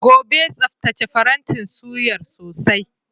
Gobe, tsaftace farantin suyar sosai.